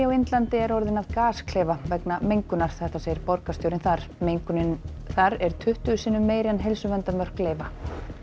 á Indlandi er orðin að gasklefa vegna mengunar segir borgarstjórinn þar mengunin þar er tuttugu sinnum meiri en heilsuverndarmörk leyfa